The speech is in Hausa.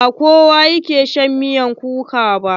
Ba kowa ke shan miyar kuka ba.